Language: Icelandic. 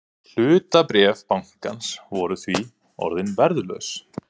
Hlutabréf bankans voru því orðin verðlaus